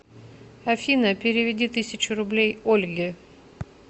афина переведи тысячу рублей ольге